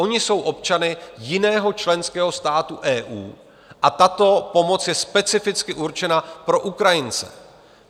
Oni jsou občany jiného členského státu EU a tato pomoc je specificky určena pro Ukrajince.